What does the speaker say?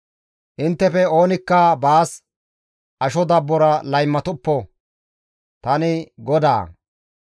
«Inttefe oonikka baas asho dabbora laymatoppo; tani GODAA.